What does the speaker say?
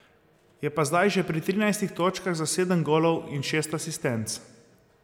Je pa zdaj že pri trinajstih točkah za sedem golov in šest asistenc.